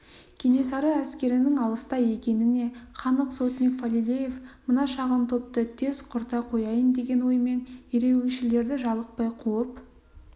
кенесары әскерінің алыста екеніне қанық сотник фалилеев мына шағын топты тез құрта қояйын деген оймен ереуілшілерді жалықпай қуып